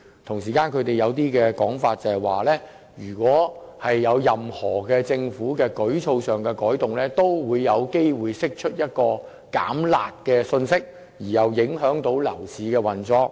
同時，政府抱有一種想法，就是如果作出任何舉措上的改動，也有機會釋出一種"減辣"的信息，從而影響樓市運作。